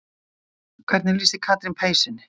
En hvernig lýsir Katrín peysunni?